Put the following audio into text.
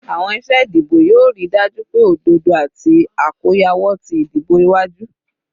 Awọn iṣe idibo yoo rii daju pe ododo ati akoyawo ti idibo iwaju